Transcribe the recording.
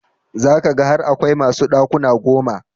Za ka ga har akwai masu ɗakuna goma.